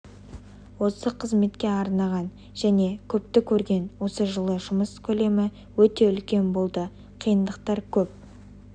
осы қызметке арнаған және көпті көрген осы жылы жұмыс көлемі өте үлкен болды қиындықтар көп